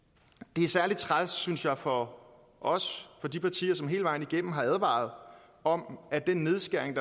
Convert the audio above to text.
det er særlig træls synes jeg for os for de partier som hele vejen igennem har advaret om at den nedskæring